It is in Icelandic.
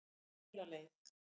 Fela leið